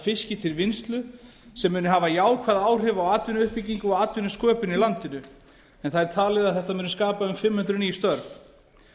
fiski til vinnslu sem muni hafa jákvæð áhrif á atvinnuuppbyggingu og atvinnusköpun á landinu en það er talið að þetta muni skapa um fimm hundruð ný störf